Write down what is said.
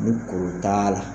Ni kuru t'a la.